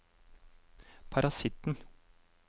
parasitten